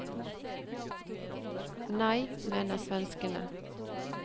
Nei, mener svenskene.